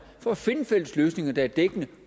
for at finde fælles løsninger der er dækkende